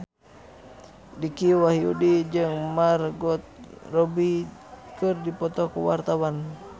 Dicky Wahyudi jeung Margot Robbie keur dipoto ku wartawan